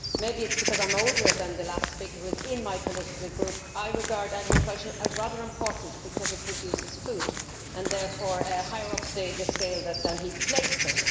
Maybe it is because I am older than the last speaker who is in my political group that I regard agriculture as rather important, because it produces food and is therefore higher up the scale than he placed it.